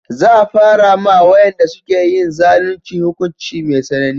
Za a fara ma wayanda suke yin zalunci hukunci mai tsanani